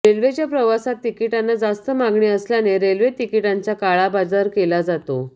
रेल्वेच्या प्रवासांत तिकिटांना जास्त मागणी असल्याने रेल्वे तिकिटांचा काळाबाजार केला जातो